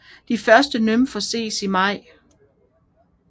De første nymfer ses i maj